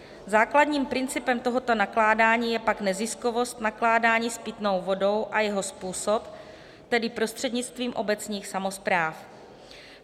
Základním principem tohoto nakládání je pak neziskovost nakládání s pitnou vodou a jeho způsob, tedy prostřednictvím obecních samospráv.